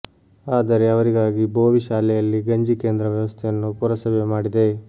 ಆದರೆ ಅವರಿಗಾಗಿ ಬೋವಿ ಶಾಲೆಯಲ್ಲಿ ಗಂಜಿ ಕೇಂದ್ರ ವ್ಯವಸ್ಥೆಯನ್ನು ಪುರಸಭೆ ಮಾಡಿದೆ